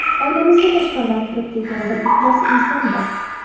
Oilamizga tashqaridan kirib kelgan bir iflos inson bor.